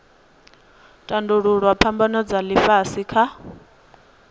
tandululwa phambano dza ifhasi kha